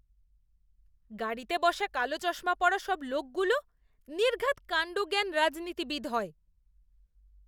গাড়িতে বসা কালো চশমা পরা সব লোকগুলো নির্ঘাৎ কাণ্ডজ্ঞান রাজনীতিবিদ হয়!